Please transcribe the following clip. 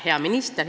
Hea minister!